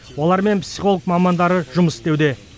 олармен психолог мамандар жұмыс істеуде